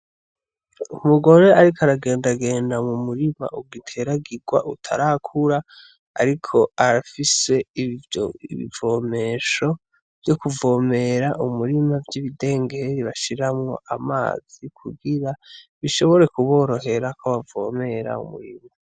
Umugore ariko aragendagenda m'umurima ugiteragirwa utarakura ariko arafise ibivomesho vyo kuvomera umurima vyibidengere bashiramwo amazi kugira bishobore kuborohera ko bavomera umurima.